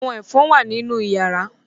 Àwọn ẹ̀fọn wà nínú yàrá